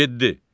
Yeddi.